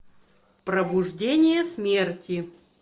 пробуждение смерти